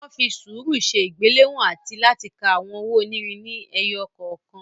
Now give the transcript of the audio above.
Wọ́n fi sùúrù ṣe ìgbéléwọ̀n àti láti ka àwọn owó onírin ni ẹyọ kọ̀ọ̀kan.